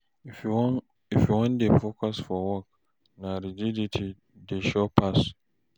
if yu wan dey focused for work na rigidity way sure pass